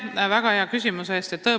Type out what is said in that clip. Aitäh väga hea küsimuse eest!